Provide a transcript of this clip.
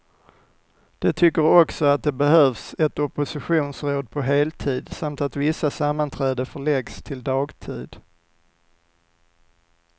De tycker också att det behövs ett oppositionsråd på heltid, samt att vissa sammanträden förläggs till dagtid.